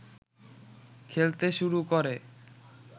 খেলতে শুরু করে